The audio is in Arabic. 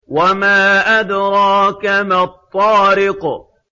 وَمَا أَدْرَاكَ مَا الطَّارِقُ